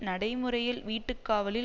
நடைமுறையில் வீட்டுக்காவலில்